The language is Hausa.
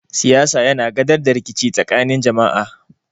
Siyasa yana gadar da rikici tsakanin jama'a.